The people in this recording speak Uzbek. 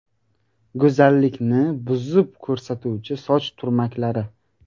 Go‘zallikni buzib ko‘rsatuvchi soch turmaklari.